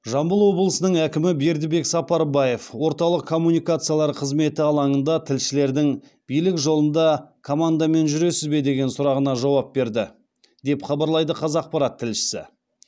жамбыл обылысының әкімі бердібек сапарбаев орталық коммуникациялар қызметі алаңында тілшілердің билік жолында командамен жүресіз бе деген сұрағына жауап берді деп хабарлайды қазақпарат тілшісі